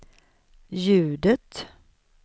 ljudet